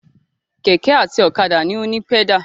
Kẹ̀kẹ́ àti ọ̀kadà ni ó ní pẹ́dà.